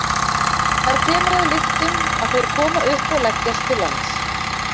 Þar kemur að lyktum að þeir koma upp og leggjast til lands.